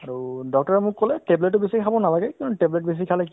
হয়, তেওঁলোক তেওঁলোক একেটা সময়তে দুই তিনটা জাগাত ঠাইত যাব নোৱাৰে ন